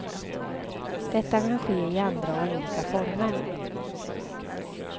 Detta kan ske i andra och olika former.